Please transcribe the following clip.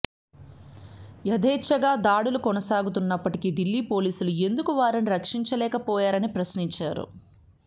యథేచ్ఛగా దాడులు కొనసాగుతున్నప్పటికీ ఢిల్లీ పోలీసులు ఎందుకు వారిని రక్షించలేకపోయారని ప్రశ్నించారు